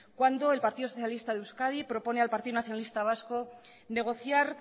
cuando el partido socialista de euskadi propone al partido nacionalista vasco negociar